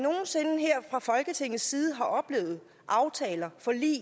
og folketingets side har oplevet aftaler forlig